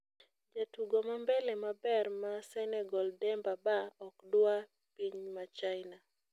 Jatugo mambele maber ma Senegal Demba Ba okdwa piny ma china